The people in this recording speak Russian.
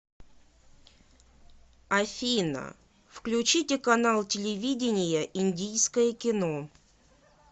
афина включите канал телевидения индийское кино